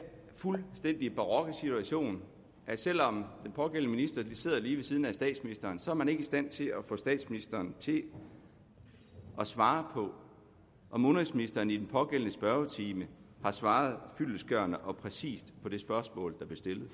fuldstændig barokke situation at selv om den pågældende minister sidder lige ved siden af statsministeren så er man ikke i stand til at få statsministeren til at svare på om udenrigsministeren i den pågældende spørgetime har svaret fyldestgørende og præcist på det spørgsmål der blev stillet